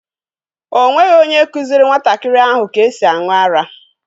O nweghị onye kụziiri nwantakịrị ahụ ka esi aṅụ ara.